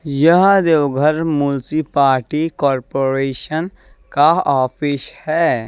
यह Deoghar municipality corporation का office है।